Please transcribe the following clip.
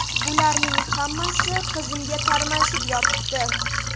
Bularning hammasi qizimga tarmashib yotibdi.